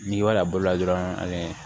N'i b'a bolo la dɔrɔn ani